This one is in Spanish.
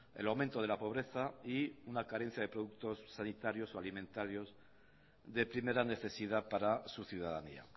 el aumento de la pobreza y una carencia de productos sanitarios y alimentarios de primera necesidad para su ciudadanía